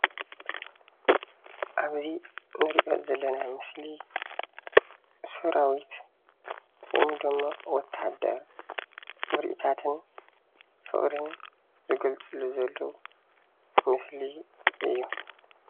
አብዚ እንሪኦ ዘለና ምስሊ ሰራዊት ወይ ደማ ወታደር ምርኢታትን ፍቅርን ዝገልፅሉ ዘለዉ ምስሊ እዩ።